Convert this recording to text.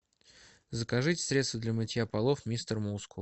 закажите средство для мытья полов мистер мускул